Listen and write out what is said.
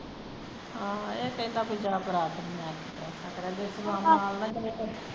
ਆਹੋ ਇਹ ਤਾਂ ਇਹਦਾ ਕੋਈ ਜਿਆਦਾ ਇਤਰਾਜ